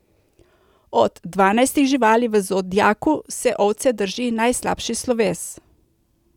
Od dvanajstih živali v zodiaku se ovce drži najslabši sloves.